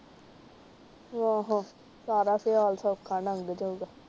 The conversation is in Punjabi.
ਅਹ ਸਾਰਾ ਸਿਆਲ ਸੌਖਾ ਲੰਗ ਜਾਊਗਾ ।